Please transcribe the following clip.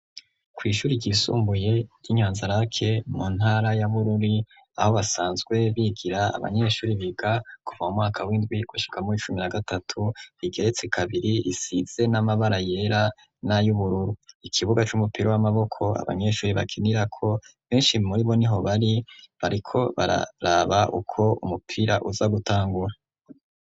Kw'ishuri ryisumbuye ry'inyanzarake mu ntara yabururi aho basanzwe bigira abanyeshuri biga kuva mu mwaka w'indwi gushikamwo icumi ra gatatu igeretse kabiri isize n'amabara yera n'ayo ubururu ikibuga c'umupira w'amaboko abanyeshuri bakinirako benshi muri bo ni hobari bariko bararaba uko umupira uza gutangura.